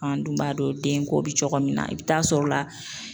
An dun b'a dɔn den ko bi cogo min na, i bi taa sɔrɔ la